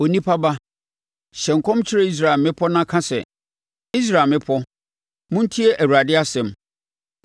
“Onipa ba, hyɛ nkɔm kyerɛ Israel mmepɔ na ka sɛ: ‘Israel mmepɔ, montie Awurade asɛm.